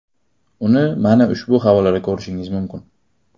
Uni mana ushbu havolada ko‘rishingiz mumkin.